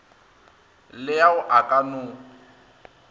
le ao a ka no